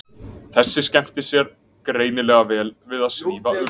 Þessi skemmta sér greinilega vel við að svífa um.